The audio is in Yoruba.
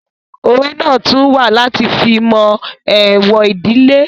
Òwe náà tún wà láti fi mọ èèwọ̀ ìdílé